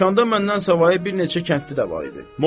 Dükanda məndən savayı bir neçə kəndli də var idi.